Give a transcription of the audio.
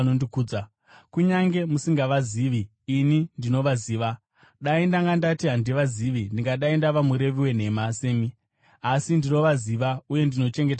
Kunyange musingavazivi, ini ndinovaziva. Dai ndanga ndati handivazivi, ndingadai ndava murevi wenhema semi, asi ndinovaziva uye ndinochengeta shoko ravo.